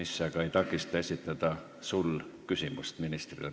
See aga ei takista esitada sul praegu küsimust ministrile.